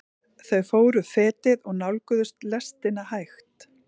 Þau fóru fetið og nálguðust lestina hægt.